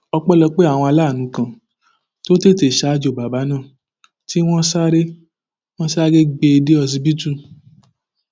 ọpẹlọpẹ àwọn aláàánú kan tó tètè ṣaájò bàbà náà tí wọn sáré wọn sáré gbé e dé ọsibítù